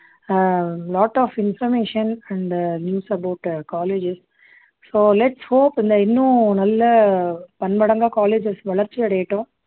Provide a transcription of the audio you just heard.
ah lot of information and news about colleges so hope இந்த இன்னும் நல்ல பன்மடங்கா colleges வளர்ச்சி அடையட்டும்